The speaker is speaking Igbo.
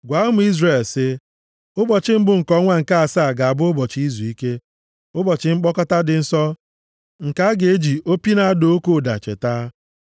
“Gwa ụmụ Izrel sị, ‘Ụbọchị mbụ nke ọnwa nke asaa ga-abụ ụbọchị izuike, ụbọchị mkpọkọta dị nsọ nke a ga-eji opi na-ada oke ụda cheta.